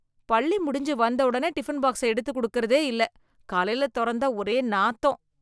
பள்ளி முடிஞ்சு வந்தோடனே டிபன் பாக்ஸ எடுத்து கொடுக்குறதே இல்ல, காலைல தொறந்தா ஒரே நாத்தம்